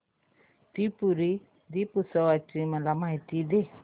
त्रिपुरी दीपोत्सवाची मला माहिती दे